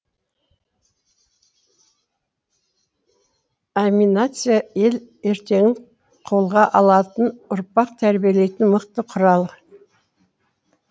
аминация ел ертеңін қолға алатын ұрпақ тәрбиелейтін мықты құрал